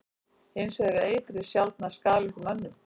Hins vegar er eitrið sjaldnast skaðlegt mönnum.